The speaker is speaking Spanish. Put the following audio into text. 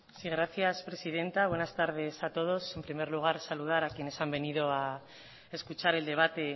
sí gracias presidenta buenas tardes a todos en primer lugar saludar a quienes han venido a escuchar el debate